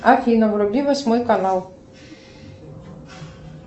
афина вруби восьмой канал